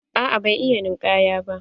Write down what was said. Aa ban iya ninkaya ba.